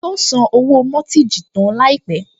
Yóò san owó mọ́tíìjì tán láìpẹ́